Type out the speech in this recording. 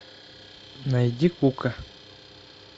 найди кука